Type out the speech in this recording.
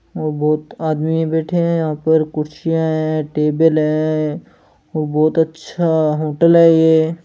वो बहुत आदमी बैठे है यह पर कुर्सियां है टेबल है वो बोत अच्छा होटल है ये।